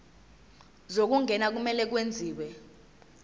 zokungena kumele kwenziwe